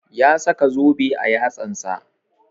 Ya saka zobe a yatsan sa